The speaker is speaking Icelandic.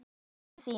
Bókin þín